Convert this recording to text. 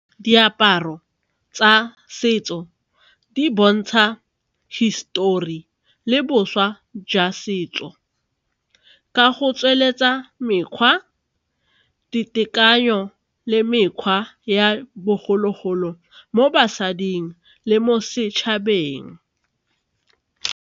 Diaparo tsa setso di bontsha hisitori le bošwa jwa setso ka go tsweletsa mekgwa, ditekanyo le mekgwa ya bogologolo mo basading le mo setšhabeng.